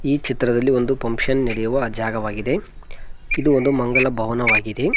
ಈ ಚಿತ್ರದಲ್ಲಿ ಒಂದು ಫಂಕ್ಷನ್ ನಡೆಯುವ ಜಾಗವಾಗಿದೆ ಇದು ಒಂದು ಮಂಗಳ ಭವನವಾಗಿದೆ.